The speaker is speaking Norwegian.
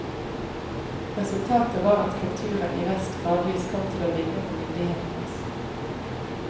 Resultatet var at kulturen i vest gradvis kom til å ligne på myndighetenes.